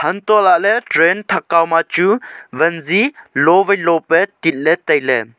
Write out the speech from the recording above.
untoh lah ley train thak kao ma chu van zi loo vai loo pa tit ley tailey.